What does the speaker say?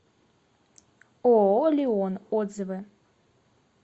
ооо лион отзывы